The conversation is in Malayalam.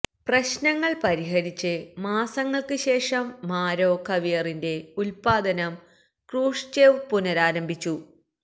പ്രശ്നങ്ങൾ പരിഹരിച്ച് മാസങ്ങൾക്ക് ശേഷം മാരോ കാവിയറിന്റെ ഉൽപ്പാദനം ക്രൂഷ്ചേവ് പുനരാരംഭിച്ചു